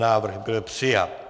Návrh byl přijat.